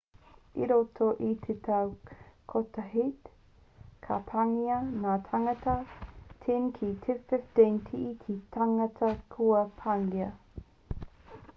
i roto i te tau kotahit ka pāngia ngā tāngata 10 ki te 15 e te tangata kua pāngia